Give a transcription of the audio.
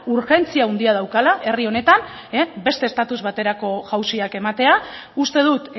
urgentzia handia daukala herri honetan beste estatus baterako jauziak ematea uste dut